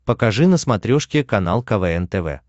покажи на смотрешке канал квн тв